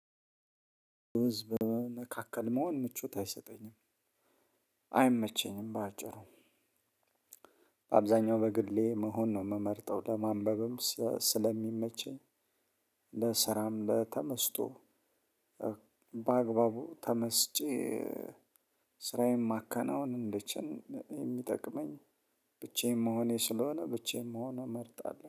ህዝብ መካከል መሆን ምቾት አይሰጠኝም። አይመቸኝም በአጭሩ አብዛኛው በግሌ መሆን ነው የምመርጠው። ለማንበብም ስለሚመቸኝ። ለስራም ለተመስጦ። በአግባቡ ተመስጬ ስራዬን ማከናወን እንድችል የሚጠቅመኝ። ብቻዬን መሆኔ ስለሆነ ብቻዬን መሆን እመርጣለሁ